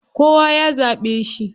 Kowa ya zaɓe shi.